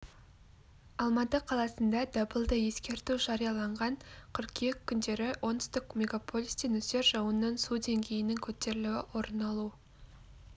алматы қаласында дабылды ескерту жарияланған қыркүйек күндері оңтүстік мегаполисте нөсер жауыннан су деңгейінің көтерілуі орын алу